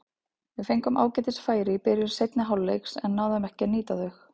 Við fengum ágætis færi í byrjun seinni hálfleiks en náðum ekki að nýta þau.